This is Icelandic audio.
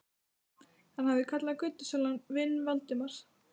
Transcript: Hann hafði kallað götusalann vin Valdimars.